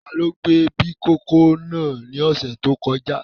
Tani ó gbẹ̀ bí ìkókó náà ní ọ̀sẹ̀ tó kọjá?